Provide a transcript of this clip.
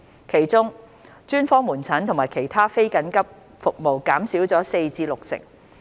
其中，專科門診和其他非緊急服務減少了約四成至六成。